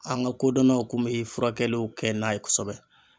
An ga kodɔnnaw kun me furakɛliw kɛ n'a ye kosɛbɛ